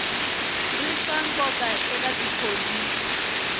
ri swa nkoka eka tipholisi